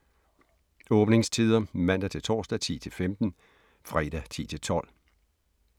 Åbningstider: Mandag-torsdag: 10-15 Fredag: 10-12